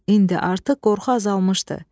İndi artıq qorxu azalmışdı.